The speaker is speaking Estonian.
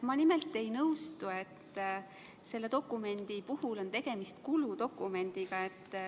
Ma nimelt ei nõustu, et selle dokumendi puhul on tegemist kuludokumendiga.